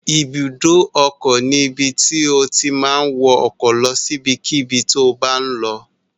Ibùdó ọkọ̀ ni ibi tí o ti ma wọ ọkọ̀ lọ sí ibikíbi tí o bá ń lọ